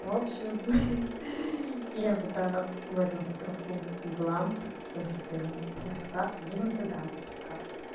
в общем ха-ха я пока в этом в травмпункте была тоже делала расклад уже на цыганских картах